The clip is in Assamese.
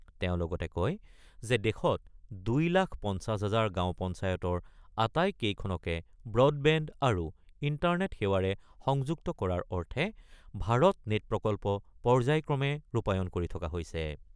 তেওঁ লগতে কয় যে দেশত ২ লাখ ৫০ হাজাৰ গাঁও পঞ্চায়তৰ আটাইকেইখনকে ব্ৰডবেণ্ড আৰু ইণ্টাৰনেট সেৱাৰে সংযুক্ত কৰাৰ অৰ্থে ভাৰত নেটপ্ৰকল্প পৰ্যায়ক্ৰমে ৰূপায়ণ কৰি থকা হৈছে।